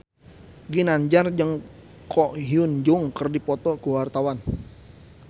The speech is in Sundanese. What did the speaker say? Ginanjar jeung Ko Hyun Jung keur dipoto ku wartawan